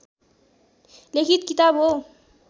लिखित किताब हो